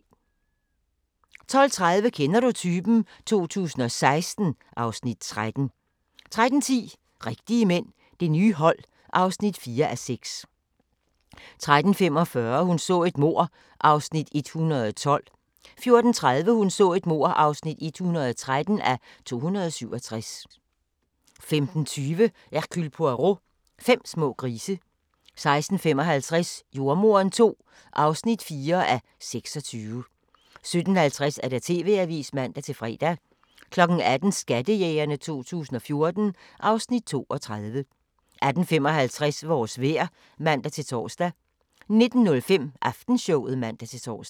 12:30: Kender du typen? 2016 (Afs. 13) 13:10: Rigtige mænd – Det nye hold (4:6) 13:45: Hun så et mord (112:267) 14:30: Hun så et mord (113:267) 15:20: Hercule Poirot: Fem små grise 16:55: Jordemoderen II (4:26) 17:50: TV-avisen (man-fre) 18:00: Skattejægerne 2014 (Afs. 32) 18:55: Vores vejr (man-tor) 19:05: Aftenshowet (man-tor)